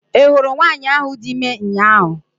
I hụrụ nwanyị ahụ dị ime ụnyaahụ?